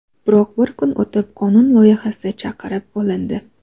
Biroq bir kun o‘tib qonun loyihasi chaqirib olindi.